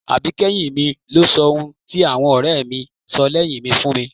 Àbíkẹ́yìn mi ló sọ ohun tí àwọn ọ̀rẹ́ mi sọ lẹ́yìn mi fún mi